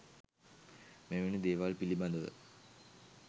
මෙවැනි දේවල් පිළිබඳව